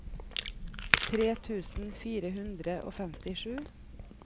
tre tusen fire hundre og femtisju